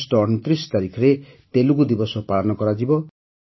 August ୨୯ ତାରିଖରେ ତେଲୁଗୁ ଦିବସ ପାଳନ କରାଯିବ